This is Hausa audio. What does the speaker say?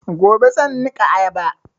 Gobe zan niƙa ayaba